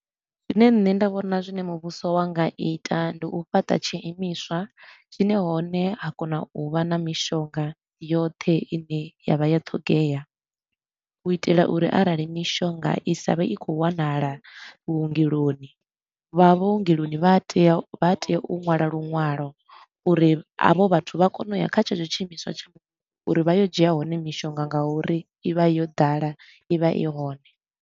Zwine nṋe nda vhona zwine muvhuso wa nga ita ndi u fhaṱa tshiimiswa tshine hone ha kona u vha na mishonga yoṱhe i ne ya vha ya ṱhogea. U itela uri arali mishonga i sa vhe i khou wanala vhungeloni, vha vhuongeloni vha a tea u vha tea u ṅwala luṅwalo uri havho vhathu vha kone u ya kha tshetsho tshiimiswa tsha uri vha yo dzhia hone mishonga nga uri i vha yo ḓala i vha i hone.